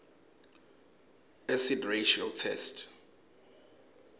acid ratio test